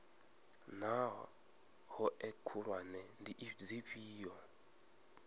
naa hoea khulwane ndi dzifhio